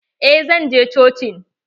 Eh zan je cocin.